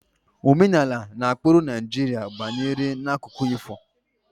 Omenala na ụkpụrụ Naịjirịa gbanyere n'akụkọ ifo